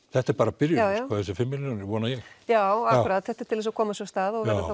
þetta er bara byrjunin þessar fimm milljónir vona ég já akkúrat þetta er til að koma sér af stað og verður